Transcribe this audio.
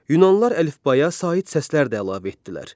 Yunanlılar əlifbaya sait səslər də əlavə etdilər.